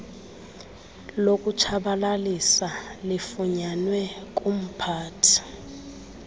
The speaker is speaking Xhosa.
lokutshabalalisa lifunyanwe kumphathi